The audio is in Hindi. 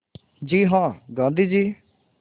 जी हाँ गाँधी जी